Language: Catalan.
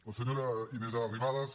la senyora inés arrimadas